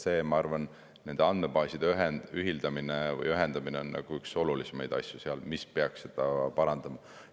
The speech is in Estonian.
Ma arvan, et nende andmebaaside ühildamine või ühendamine on üks olulisemaid asju seal, mis peaks parandama.